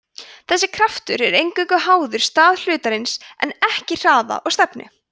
þessi kraftur er eingöngu háður stað hlutarins en ekki hraða eða stefnu